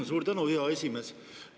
Suur tänu, hea esimees!